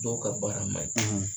Dɔw ka baara man ɲi